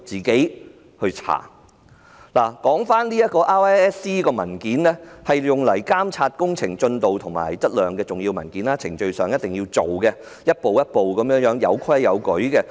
檢查及測量申請表格是監察工程進度和質量的重要文件，須依照程序中各個步驟提出及處理，有規有矩。